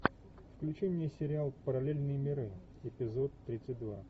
включи мне сериал параллельные миры эпизод тридцать два